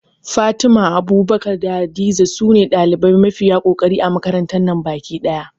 Fatima, Abubakar da Hadiza sune ɗalibai mafiya kokari a makarantar nan baki ɗaya